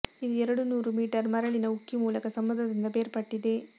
ಇದು ಎರಡು ನೂರು ಮೀಟರ್ ಮರಳಿನ ಉಕ್ಕಿ ಮೂಲಕ ಸಮುದ್ರದಿಂದ ಬೇರ್ಪಟ್ಟಿದೆ